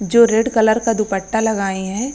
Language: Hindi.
जो रेड कलर का दुप्पटा लगाये है।